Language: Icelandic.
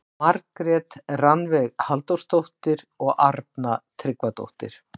Margrét Rannveig Halldórsdóttir og Arna Tryggvadóttir.